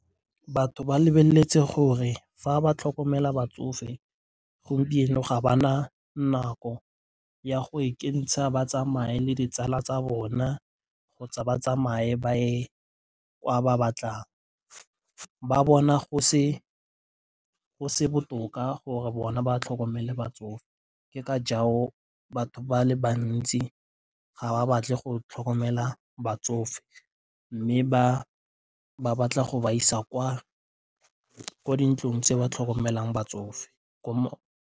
Batho ba lebeletse gore fa ba tlhokomela batsofe gompieno ga ba na nako ya go ikentsha ba tsamaye le ditsala tsa bona kgotsa ba tsamaye ba ye kwa ba batlang. Ba bona go se botoka gore bona ba tlhokomele batsofe. Ke ka jalo batho ba le bantsi ga ba batle go tlhokomela batsofe mme ba batla go ba isa ko dintlong tse ba tlhokomelang batsofe .